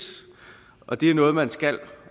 og det er noget man skal